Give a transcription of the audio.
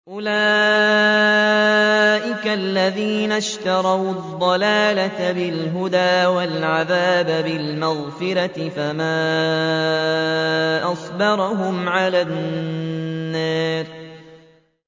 أُولَٰئِكَ الَّذِينَ اشْتَرَوُا الضَّلَالَةَ بِالْهُدَىٰ وَالْعَذَابَ بِالْمَغْفِرَةِ ۚ فَمَا أَصْبَرَهُمْ عَلَى النَّارِ